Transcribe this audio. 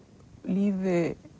lífi